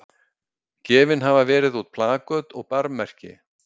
Gefin hafa verið út plaköt og barmmerki.